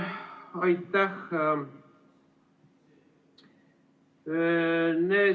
Aitäh!